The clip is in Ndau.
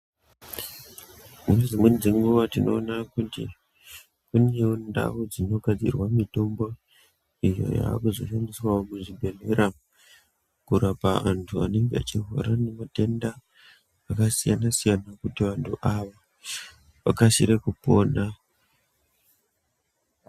Nedzimweni dzenguva tinona kuti kunevo ndau dzinogadzirwa mitombo iyo yakuzoshandiswavo muzvibhedhlera. Kurapa antu anenge achirwara ngematenda akasiyana-siyana, kuti antu aya vakasire kupona.